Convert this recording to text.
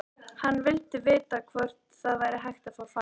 Hann vildi vita hvort það væri hægt að fá frið.